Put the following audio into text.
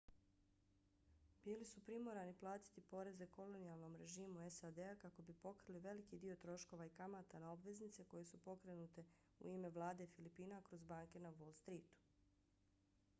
bili su primorani platiti poreze kolonijalnom režimu sad-a kako bi pokrili veliki dio troškova i kamata na obveznice koje su pokrenute u ime vlade filipina kroz banke na wall streetu